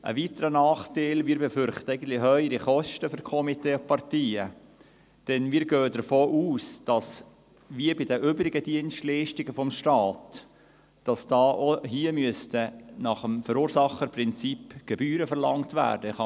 Ein weiterer Nachteil besteht darin, dass wir höhere Kosten für Komitees und Parteien befürchten, denn wir gehen davon aus, dass wie bei den übrigen Dienstleistungen des Staates auch hier nach dem Verursacherprinzip Gebühren verlangt werden müssen.